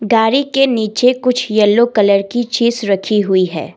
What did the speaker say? गारी के नीचे कुछ येलो कलर की चीज रखी हुई है।